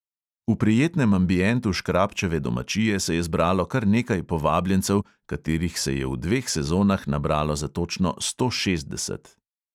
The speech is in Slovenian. V prijetnem ambientu škrabčeve domačije se je zbralo kar nekaj povabljencev, katerih se je v dveh sezonah nabralo za točno sto šestdeset.